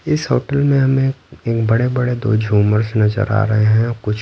इस होटल में हमें एक बड़े-बड़े दो झूमर्स नजर आ रहे हैं और कुछ--